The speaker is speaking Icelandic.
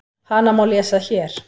Hana má lesa HÉR.